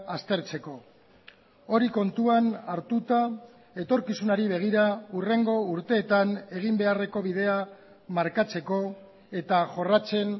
aztertzeko hori kontuan hartuta etorkizunari begira hurrengo urteetan egin beharreko bidea markatzeko eta jorratzen